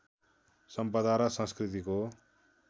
सम्पदा र संस्कृतिको